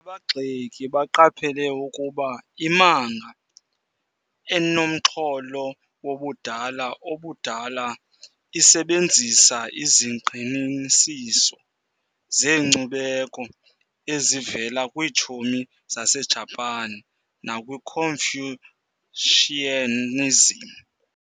Abagxeki baqaphela ukuba imanga, enomxholo wobudala obudala, isebenzisa izingqinisiso zenkcubeko ezivela kwiitshomi zaseJapan nakwiConfucianism.